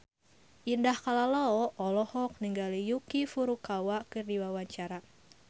Indah Kalalo olohok ningali Yuki Furukawa keur diwawancara